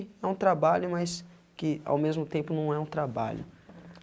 É um trabalho, mas que ao mesmo tempo não é um trabalho.